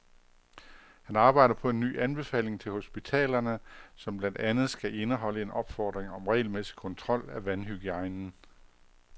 Han arbejder på en ny anbefaling til hospitalerne, som blandt andet skal indeholde en opfordring om regelmæssig kontrol af vandhygiejnen.